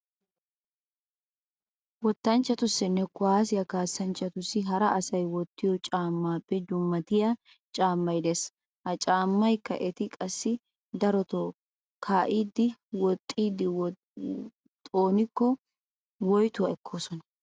Wottanchchatussinne kuwaassiya kaassanchchatussi hara asay wottiyo caammaappe dummatiya caammay de'ees. Ha caammakka eti qassi daroto kaa'idinne woxxidi xoonikko woytuwaa ekkoosona.